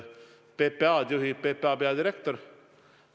PPA-d juhib PPA peadirektor.